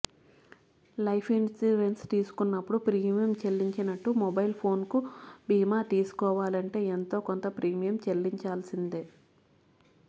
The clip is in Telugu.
లైఫ్ ఇన్స్యూరెన్స్ తీసుకున్నప్పుడు ప్రీమియం చెల్లించినట్టు మొబైల్ ఫోన్కు బీమా తీసుకోవాలంటే ఎంతో కొంత ప్రీమియం చెల్లించాల్సిందే